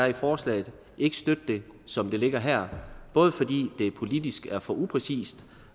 i forslaget ikke støtte det som det ligger her både fordi det politisk er for upræcist